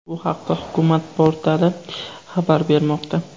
Bu haqda Hukumat portali xabar bermoqda .